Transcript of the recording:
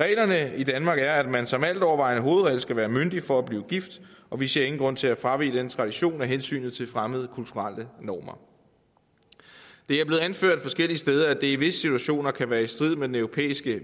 reglerne i danmark er at man som altovervejende hovedregel skal være myndig for at blive gift og vi ser ingen grund til at fravige den tradition af hensyn til fremmede kulturelle normer det er blevet anført forskellige steder at det i visse situationer kan være i strid med den europæiske